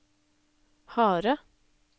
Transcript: harde